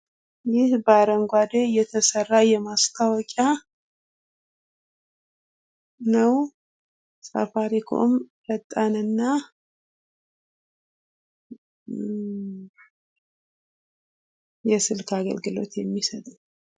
ይህ በአረንጓዴ ቀለም የተሰራ ማስታወቂያ ነው። ሳፋሪኮም ፈጣንና የስልክ አገልግሎት የሚል ነው።